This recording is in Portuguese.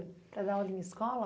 Para dar aula em escola?